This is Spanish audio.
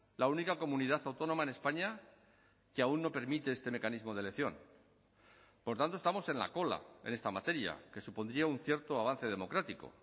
la única comunidad autónoma en españa que aún no permite este mecanismo de elección por tanto estamos en la cola en esta materia que supondría un cierto avance democrático